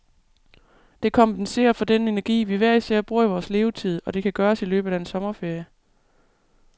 Det kompenserer for den energi, vi hver især bruger i vores levetid, og det kan gøres i løbet af en sommerferie.